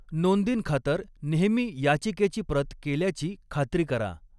नोंदींखातर नेहमी याचिकेची प्रत केल्याची खात्री करा.